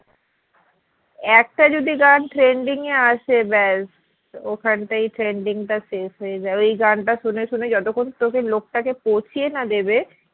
একটা যদি গান trending এ আসে ব্যাস ওখানটাই trending টা শেষ হয় যাবে এই গান তা শুনে শুনে যতক্ষণ না লোকটাকে পচিয়া না দেবে